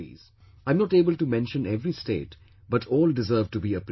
I am not able to mention every state but all deserve to be appreciated